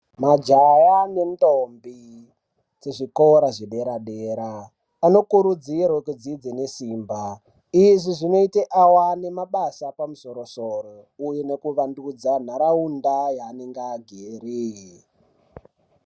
Majaya nendombi kuzvikora zvedera dera anokurudzirwe kudzidze nesimba izvi zvinoite awane mabasa aepamusoro soro uye nekuvandudza nharaunda yavanenge agere.